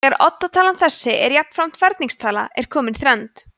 þegar oddatalan þessi er jafnframt ferningstala er komin þrennd